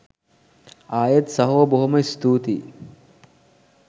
අයෙත් සහෝ බොහොම ස්තූතියි